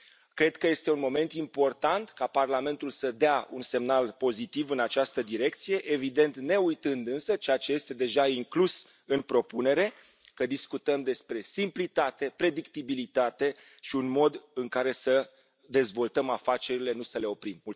Cred că este un moment important ca Parlamentul să dea un semnal pozitiv în această direcție, evident neuitând, însă, ceea ce este deja inclus în propunere, că discutăm despre simplitate, predictibilitate și un mod în care să dezvoltăm afacerile, nu să le oprim.